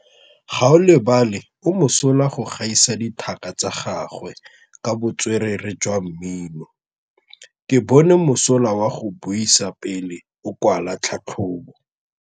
Gaolebalwe o mosola go gaisa dithaka tsa gagwe ka botswerere jwa mmino. Ke bone mosola wa go buisa pele o kwala tlhatlhobô.